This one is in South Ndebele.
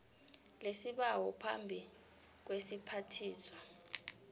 lesibawo phambi kwesiphathiswa